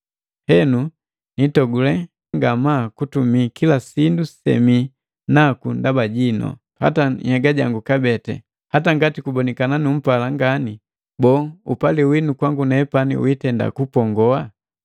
Henu nitogule ngamaa kutumii kila sindu semii naku ndaba jinu, hata nhyega jangu kabee. Hata ngati kubonikana numpala ngani, boo, upali winu kwangu nepani witenda kupongoa?